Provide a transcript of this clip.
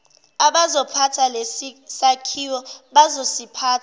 abazophatha lesisakhiwo bazosiphatha